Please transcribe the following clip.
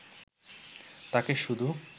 তাঁকে শুধু